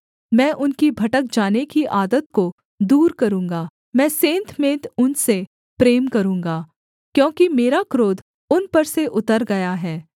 मैं उनकी भटक जाने की आदत को दूर करूँगा मैं सेंतमेंत उनसे प्रेम करूँगा क्योंकि मेरा क्रोध उन पर से उतर गया है